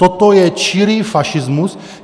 Toto je čirý fašismus.